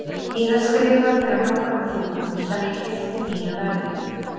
Ég er skrifaður fyrir nokkrum þúfum, sem ég keypti mínu verði.